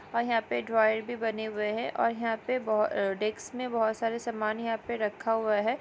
और यहाँ पे ड्रॉवर भी बने हुए हैं और यहांपे बहो डेस्क में बहुत सारे सम्मान यहां पर रखा हुआ है।